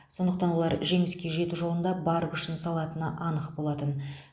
сондықтан олар жеңіске жету жолында бар күшін салатыны анық болатын